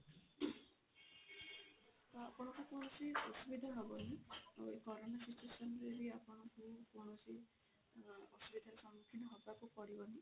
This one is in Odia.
ତ ଆପଣଙ୍କୁ କୌଣସି ଅସୁବିଧା ହବନି ଆଉ ଏ କରୋନା situation ରେ ବି ଆପଣଙ୍କୁ କୌଣସି ଅସୁବିଧା ର ସମୁଖୀନ ହବାକୁ ପଡିବନି